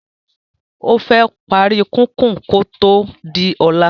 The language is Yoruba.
ofé pari kikun ko to di óla